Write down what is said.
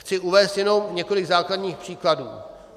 Chci uvést jenom několik základních příkladů.